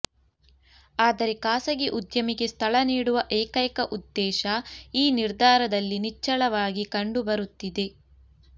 ಆದರೆ ಖಾಸಗಿ ಉದ್ಯಮಿಗೆ ಸ್ಥಳ ನೀಡುವ ಏಕೈಕ ಉದ್ದೇಶ ಈ ನಿರ್ಧಾರದಲ್ಲಿ ನಿಚ್ಛಳವಾಗಿ ಕಂಡುಬರುತ್ತಿದೆ